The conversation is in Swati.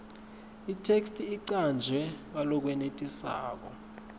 itheksthi icanjwe ngalokwenetisako